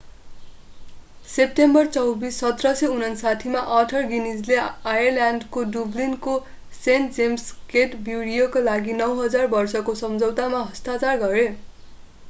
September 24 1759 मा Arthur गिनीजले आयरल्याण्डको डुब्लिनको सेण्ट जेम्स गेट ब्रुअरीका लागि 9,000 वर्षको सम्झौतामा हस्ताक्षर गरे